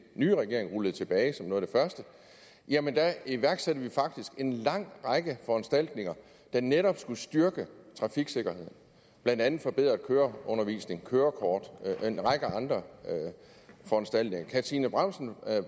nye regering rullede tilbage iværksatte vi faktisk en lang række foranstaltninger der netop skulle styrke trafiksikkerheden blandt andet forbedret køreundervisning kørekort og en række andre foranstaltninger kan fru trine bramsen